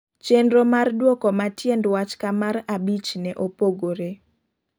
Chenro mar duoko ma tiend wach ka mar abich ne opogore